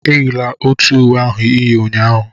Eyila otu uwe ahụ ị yi ụnyahụ!